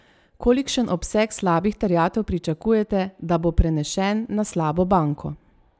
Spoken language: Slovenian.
Kolikšen obseg slabih terjatev pričakujete, da bo prenešen na slabo banko?